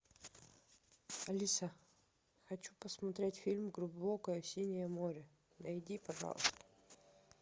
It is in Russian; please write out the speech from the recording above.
алиса хочу посмотреть фильм глубокое синее море найди пожалуйста